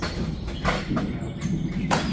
அதான், அதான்